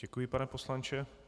Děkuji, pane poslanče.